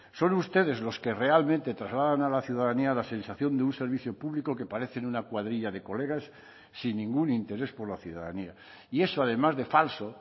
son ustedes los que realmente trasladan a la ciudadanía la sensación de un servicio público que parecen una cuadrilla de colegas sin ningún interés por la ciudadanía y eso además de falso